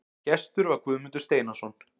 Gestur var Guðmundur Steinarsson.